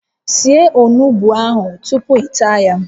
Sie onugbu a tupu ị taa ya